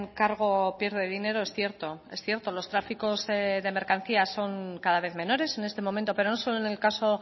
kargo pierde dinero es cierto es cierto los tráficos de mercancías son cada vez menores en este momento pero no solo en el caso